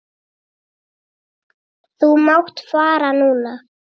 Þú mátt fara núna.